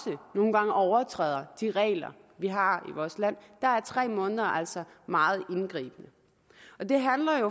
nogle gange overtræder de regler vi har i vores land er tre måneder altså meget indgribende det